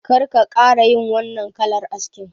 Kar ka ƙara yin wannan kalar askin